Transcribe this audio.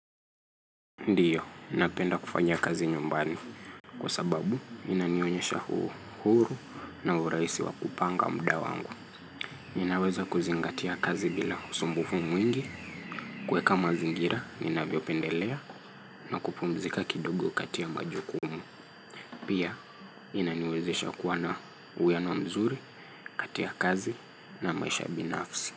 Ndiyo, ninapenda kufanyia kazi nyumbani. Kwa sababu, inanionyesha uhuru na urahisi wa kupanga muda wangu. Ninaweza kuzingatia kazi bila usumbufu mwingi. Kuweka mazingira, ninavyopendelea na kupumzika kidogo kati ya majukumu. Pia, inaniwezesha kuwa na uwiano mzuri kati ya kazi na maisha binafsi.